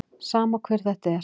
Sama hver þetta er.